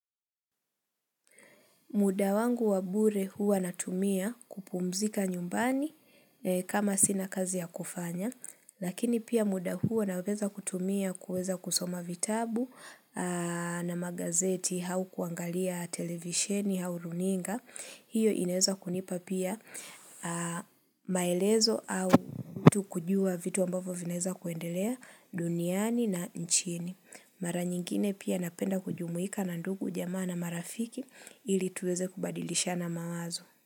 Muda wangu wabure hua natumia kupumzika nyumbani kama sina kazi ya kufanya Lakini pia muda hua naweza kutumia kuweza kusoma vitabu na magazeti au kuangalia televisheni au runinga hiyo inaeza kunipa pia maelezo au mtu kujua vitu ambavo vinaeza kuendelea duniani na nchini Mara nyingine pia napenda kujumuika na ndugu jamaa na marafiki ili tuweze kubadilishana mawazo.